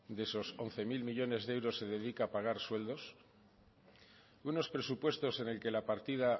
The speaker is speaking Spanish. de esos once mil millónes de euros se dedica a pagar sueldos unos presupuestos en el que la partida